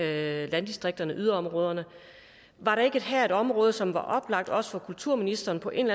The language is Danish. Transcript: landdistrikterne yderområderne var der ikke her et område som var oplagt også for kulturministeren på en